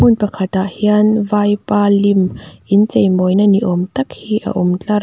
hmun pakhat ah hian vaipa lim in chei mawina ni awm tak hi a awm tlar--